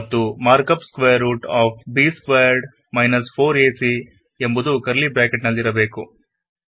ಮತ್ತು markup square root of b squared - 4ac ಎಂಬುದು curly bracket ನಲ್ಲಿರಬೇಕು